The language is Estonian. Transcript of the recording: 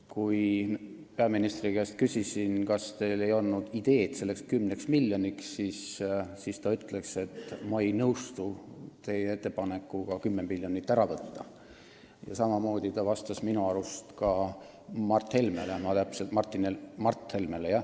Kui küsisin peaministri käest, kas tal ei olnud ideed selleks 10 miljoniks, siis ta ütles, et ma ei nõustu teie ettepanekuga 10 miljonit ära võtta, ja samamoodi vastas ta minu arust ka Mart Helmele.